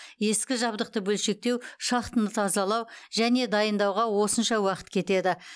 ескі жабдықты бөлшектеу шахтаны тазалау және дайындауға осынша уақыт кетеді